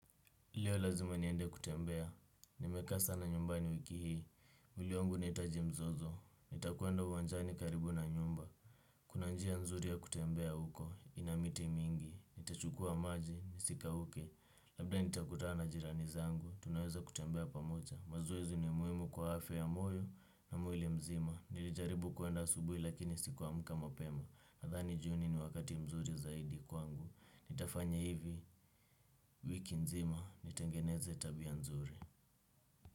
Leo lazima niende kutembea, nimekaa sana nyumbani wiki hii. Mwili wangu inahitaji mzozo, nitakwenda uwanjani karibu na nyumba. Kuna njia nzuri ya kutembea huko, ina miti mingi. Nitachukua maji, nisikauke. Labda nitakutana na jirani zangu, tunaweza kutembea pamoja. Mazoezi ni muhimu kwa afya ya moyo na mwili mzima. Nilijaribu kuenda asubuhi lakini sikuamka mapema nadhani jioni ni wakati mzuri zaidi kwangu. Nitafanya hivi, wiki nzima. Nitengeneze tabia nzuri.